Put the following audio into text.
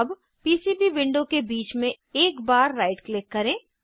अब PCB new window के बीच में एक बार राइट क्लिक करें